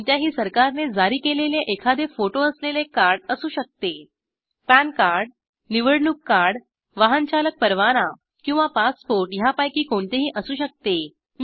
कोणत्याही सरकारने जारी केलेले एखादे फोटो असलेले कार्ड असू शकते पॅन कार्ड निवडणूक कार्ड वाहन चालक परवाना किंवा पासपोर्ट ह्यापैकी कोणतेही असू शकते